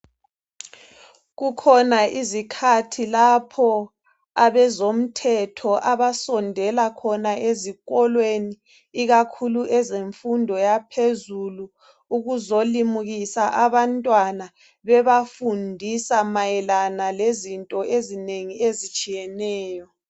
Kukhona izikhathi lapho abezomthetho abasondela khona ezikolweni ikakhulu ezemfundo yaphezulu ukuzolimukisa abantwana bebafundisa mayelana lezinto ezinengi ezitshiyeneyo.